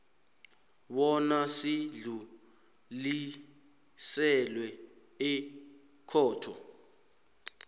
bona sidluliselwe ekhotho